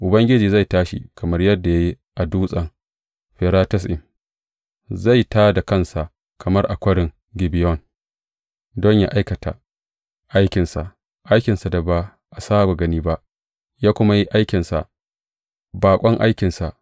Ubangiji zai tashi kamar yadda ya yi a Dutsen Feratsim, zai tā da kansa kamar a Kwarin Gibeyon don yă aikata aikinsa, aikinsa da ba a saba gani ba, yă kuma yi aikinsa, baƙon aikinsa.